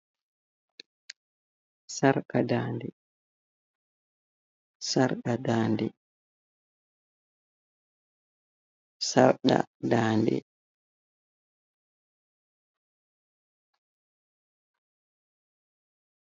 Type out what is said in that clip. Sarka ndade, sarka ndade, sarka ndade.